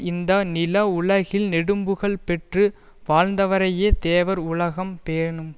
இந்த நில உலகில் நெடும்புகழ் பெற்று வாழந்தவரையே தேவர் உலகம் பேணும்